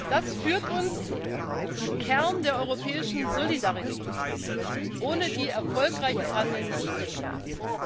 Das führt uns zum Kern der europäischen Solidarität, ohne die erfolgreiches Handeln nicht denkbar ist.